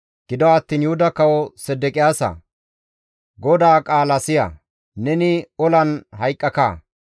« ‹Gido attiin Yuhuda kawo Sedeqiyaasaa! GODAA qaala siya! Neni olan hayqqaka;